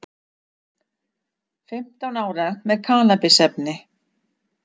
Fimmtán ára með kannabisefni